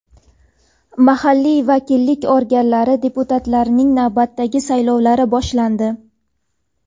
mahalliy vakillik organlari deputatlarining navbatdagi saylovlari boshlandi.